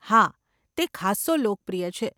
હા, તે ખાસ્સો લોકપ્રિય છે.